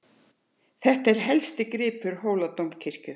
Þetta er helsti gripur Hóladómkirkju.